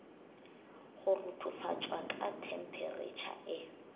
go ruthufatšwa ka themperetšha e